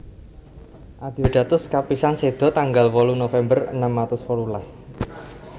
Adeodatus kapisan seda tanggal wolu November enem atus wolulas